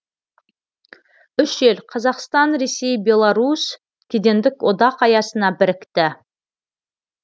үш ел қазақстан ресей беларусь кедендік одақ аясына бірікті